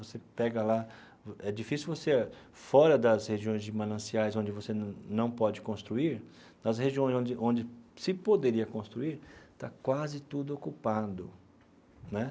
Você pega lá, é difícil você, fora das regiões de mananciais onde você não pode construir, nas regiões onde onde se poderia construir, está quase tudo ocupado, né?